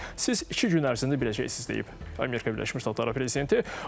Siz iki gün ərzində biləcəksiniz deyib Amerika Birləşmiş Ştatları prezidenti.